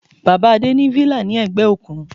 Bàbá Adé ní villa ní ẹ̀gbẹ́ òkun.